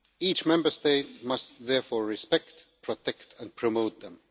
Each Member State must therefore respect, protect and promote them.